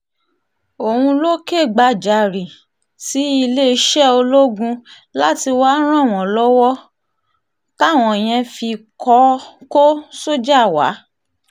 òun ló kẹ́gbajàre sí iléeṣẹ́ ológun láti wáá ràn wọ́n lọ́wọ́ um táwọn yẹn fi kọ́ um sójà wa